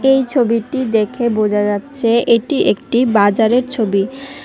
এই ছবিটি দেখে বোঝা যাচ্ছে এটি একটি বাজারের ছবি।